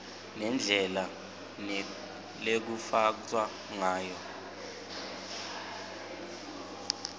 nendlela lekutsatfwa ngayo